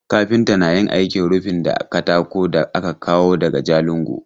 Kafinta na yin aikin rufi da katakon da aka kawo daga Jalingo.